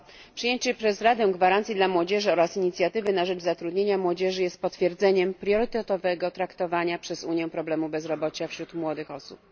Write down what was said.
Przyjęcie przez Radę gwarancji dla młodzieży oraz inicjatywy na rzecz zatrudnienia młodzieży jest potwierdzeniem priorytetowego traktowania przez Unię problemu bezrobocia wśród młodych osób.